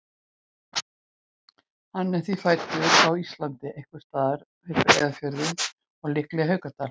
Hann er því fæddur á Íslandi, einhvers staðar við Breiðafjörðinn og líklega í Haukadal.